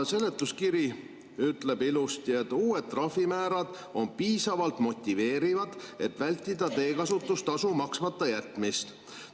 Seletuskiri ütleb ilusti: "Uued trahvimäärad on piisavalt motiveerivad, et vältida teekasutustasu maksmata jätmist.